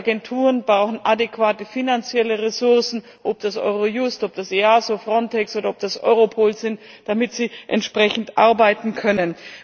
Die Agenturen brauchen adäquate finanzielle Ressourcen ob das Eurojust, EASO, Frontex oder Europol ist damit sie entsprechend arbeiten können.